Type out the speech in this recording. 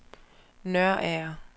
Nørager